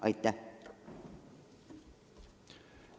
Aitäh!